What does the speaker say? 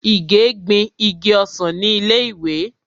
Ìgè gbin igi ọsàn ni ilé ìwé.